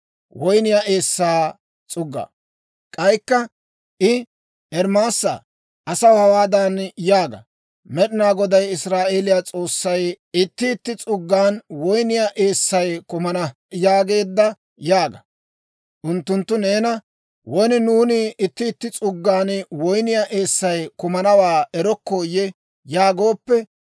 K'aykka I, «Ermaasaa, asaw hawaadan yaaga; Med'inaa Goday Israa'eeliyaa S'oossay, ‹Itti itti s'uggan woyniyaa eessay kumana› yaageedda yaaga. Unttunttu neena, ‹Won nuuni itti itti s'uggan woyniyaa eessay kumanawaa erokkooyye?› yaagooppe,